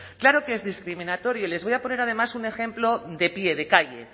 claro que es discriminatorio y les voy a poner además un ejemplo de pie de calle